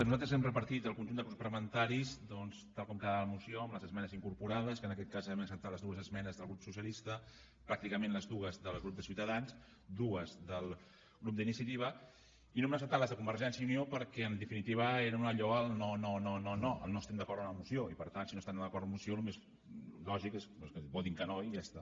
nosaltres hem repartit al conjunt de grups parlamentaris doncs tal com quedava la moció amb les esmenes incorporades que en aquest cas hem acceptat les dues esmenes del grup socialista pràcticament les dues del grup de ciutadans dues del grup d’iniciativa i no hem acceptat les de convergència i unió perquè en definitiva eren allò el no no no no el no estem d’acord amb la moció i per tant si no estan d’acord amb la moció el més lògic és que votin que no i ja està